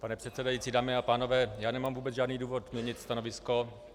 Pane předsedající, dámy a pánové, já nemám vůbec žádný důvod měnit stanovisko.